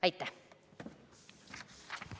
Aitäh!